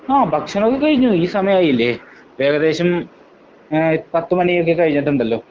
ആ ഭക്ഷണമൊക്കെ കഴിഞ്ഞു. ഈ സമയായില്ലേ. ഇപ്പോ ഏകദേശം ഏഹ് പത്ത് മണിയൊക്കെ കഴിഞ്ഞിട്ടുണ്ടല്ലോ.